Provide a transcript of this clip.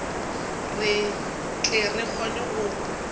re tle re kgone go